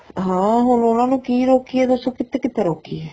ਹਾਂ ਹੁਣ ਉਹਨਾ ਨੂੰ ਕੀ ਰੋਕੀਏ ਦੱਸੋ ਕਿੱਥੇ ਕਿੱਥੇ ਰੋਕੀਏ